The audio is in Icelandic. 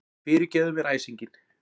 Fyrirgefðu mér æsinginn.